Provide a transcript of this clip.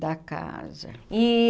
Da casa. E